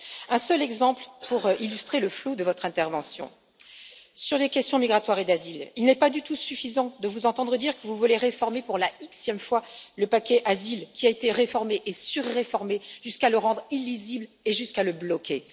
Un seul exemple pour illustrer le flou de votre intervention sur les questions migratoires et d'asile, il n'est pas du tout suffisant de vous entendre dire que vous voulez réformer pour la Xième fois le paquet asile qui a été réformé et sur réformé, jusqu'à le rendre illisible et jusqu'à le bloquer.